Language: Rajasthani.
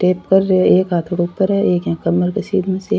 स्टेप कर री है एक हाँथ ऊपर है एक यहाँ कमर की सीध में --